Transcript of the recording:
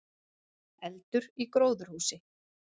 Eldur í gróðurhúsi